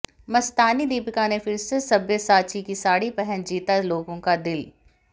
मस्तानी दीपिका ने फिर से सब्यसाची की साड़ी पहन जीता लोगों का दिल